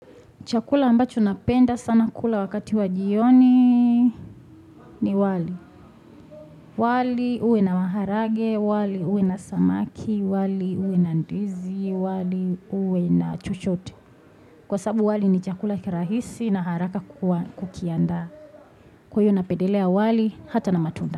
Chakula ambacho napenda sana kula wakati wa jioni ni wali. Wali uwe na maharagwe, wali uwe na samaki, wali uwe na ndizi, wali uwe na chochote. Kwa sababu wali ni chakula kirahisi na haraka kukianda. Kwa hivyo napedelea wali hata na matunda.